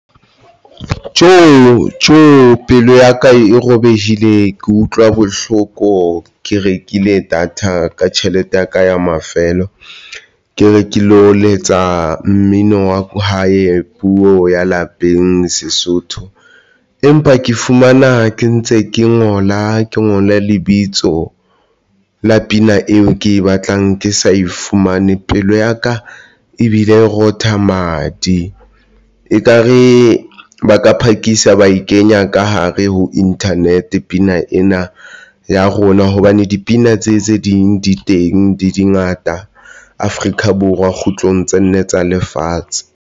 Tjo! tjo! pelo yaka e robehile, ke utlwa bohloko, ke rekile data ka tjhelete ya ka ya mafelo ke re ke lo letsa mmino wa hae puo ya lapeng Sesotho, empa ke fumana ke ntse ke ngola ke ngole lebitso la pina eo ke e batlang Ke sa e fumane pelo ya ka, ebile rotha madi, ekare ba ka phakisa ba e kenya ka hare ho Internet pina ena ya rona hobane dipina tse tse ding di teng dingata Afrika Borwa kgutlang tse nne tsa lefatshe.